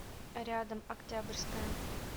рядом октябрьская